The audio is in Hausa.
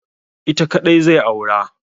Ita kaɗai zai aura.